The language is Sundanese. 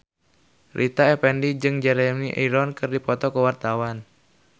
Rita Effendy jeung Jeremy Irons keur dipoto ku wartawan